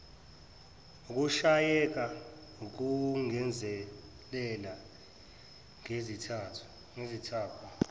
ukushayeka ukungezelela ngezithako